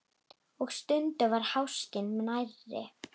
Og stundum var háskinn nærri.